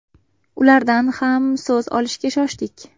Ulardan ham so‘z olishga shoshdik.